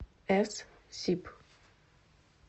эс сиб